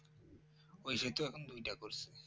ওই সেতু দুইটা করছে